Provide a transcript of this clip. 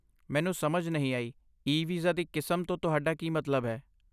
ਮੈਨੂੰ ਸਮਝ ਨਹੀਂ ਆਈ, 'ਈ ਵੀਜ਼ਾ ਦੀ ਕਿਸਮ' ਤੋਂ ਤੁਹਾਡਾ ਕੀ ਮਤਲਬ ਹੈ?